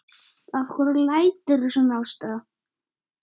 Af hverju læturðu svona Ásta?